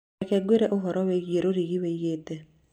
reke ngwĩre ũhoro wĩgiĩ rũrigi wĩĩgite